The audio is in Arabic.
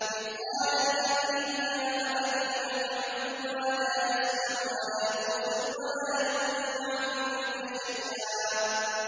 إِذْ قَالَ لِأَبِيهِ يَا أَبَتِ لِمَ تَعْبُدُ مَا لَا يَسْمَعُ وَلَا يُبْصِرُ وَلَا يُغْنِي عَنكَ شَيْئًا